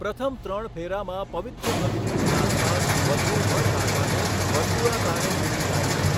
પ્રથમ ત્રણ ફેરામાં પવિત્ર અગ્નિની આસપાસ વધૂ વરરાજાને વર્તુળાકારે દોરી જાય છે.